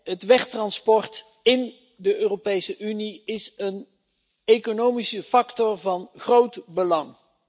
Het wegtransport in de Europese Unie is een economische factor van groot belang.